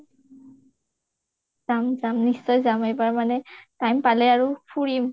যাম যাম নিশ্চয় এইবাৰ যাম মানে time পালে আৰু ফুৰিম